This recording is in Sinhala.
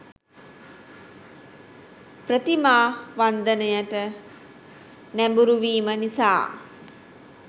ප්‍රතිමා වන්දනයට නැඹුරු වීම නිසා